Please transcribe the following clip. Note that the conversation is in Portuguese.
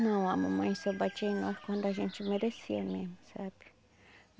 Não, a mamãe só batia em nós quando a gente merecia mesmo, sabe?